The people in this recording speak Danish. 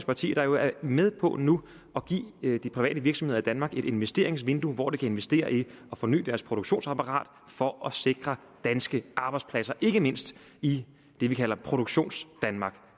partier der jo er med på nu at give de private virksomheder i danmark et investeringsvindue hvor de kan investere i at forny deres produktionsapparat for at sikre danske arbejdspladser ikke mindst i det vi kalder produktionsdanmark